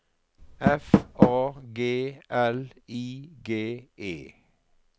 F A G L I G E